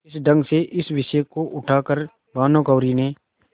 इस ढंग से इस विषय को उठा कर भानुकुँवरि ने